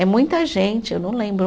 É muita gente, eu não lembro.